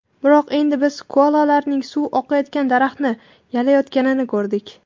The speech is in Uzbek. Biroq endi biz koalalarning suv oqayotgan daraxtni yalayotganini ko‘rdik.